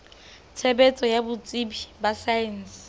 tshebetso ya botsebi ba saense